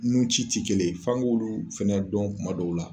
Nun ci ti kelen ye. F'an k'ulu fɛnɛ dɔn kuma dɔw la.